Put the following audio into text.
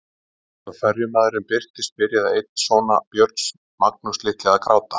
Um leið og ferjumaðurinn birtist byrjaði einn sona Björns, Magnús litli, að gráta.